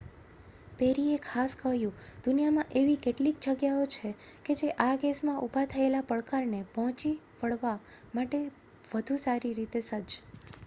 પેરીએ ખાસ કહ્યું દુનિયામાં એવી કેટલીક જગ્યાઓ છે જે આ કેસમાં ઊભા થયેલા પડકારને પહોંચી વળવા માટે વધુ સારી રીતે સજ્જ